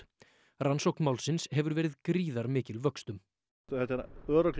rannsókn málsins hefur verið gríðarmikil vöxtum þetta er örugglega